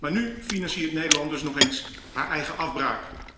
Maar nu financiert Nederland dus nog eens zijn eigen afbraak.